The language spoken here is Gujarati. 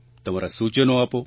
તમારાં સૂચનો આપો